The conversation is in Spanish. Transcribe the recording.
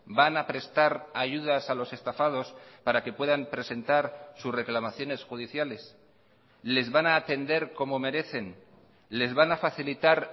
van a prestar ayudas a los estafados para que puedan presentar sus reclamaciones judiciales les van a atender como merecen les van a facilitar